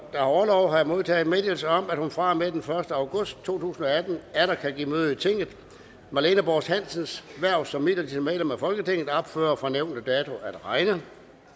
har orlov har jeg modtaget meddelelse om at hun fra og med den første august to tusind og atten atter kan give møde i tinget marlene borst hansens hverv som midlertidigt medlem af folketinget ophører fra nævnte dato at regne